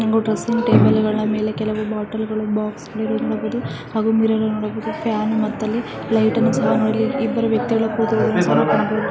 Dressing table ಮೇಲೆ ಕೆಲವು ಬಾಟಲಿ ಹಾಗೂ ಬಾಕ್ಸ್ ಇರುವದನ್ನು ನೋಡಬಹುದು ಮಿರರ್ ಫ್ಯಾನ್ ಮತ್ತು ಲೈಟ್ ಅನ್ನು ನೋಡಬಹುದು. ಮತ್ತೆ ಅಲ್ಲಿ ಇಬ್ರು ವ್ಯಕ್ತಿ ಸಹ ನೋಡಬಹುದು .